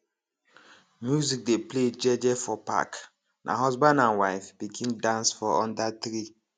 music dey play jeje for park na husband and wife begin dance for under tree